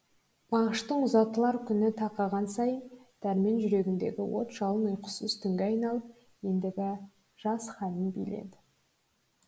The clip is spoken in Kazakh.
мағыштың ұзатылар күні тақаған сайын дәрмен жүрегіндегі от жалын ұйқысыз түнге айналып ендігі жас халін биледі